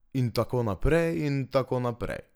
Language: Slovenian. In tako naprej in tako naprej.